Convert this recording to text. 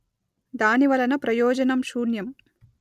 దాని వలన ప్రయోజనం శూన్యం